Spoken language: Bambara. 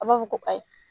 A b'a fɔ ko ayi